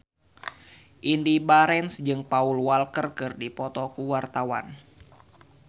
Indy Barens jeung Paul Walker keur dipoto ku wartawan